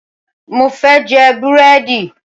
Mo fẹ́ jẹ búrẹ́dì